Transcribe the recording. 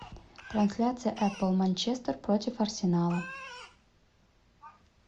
трансляция апл манчестер против арсенала